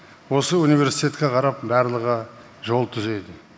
осы университетке қарап барлығы жол түзейді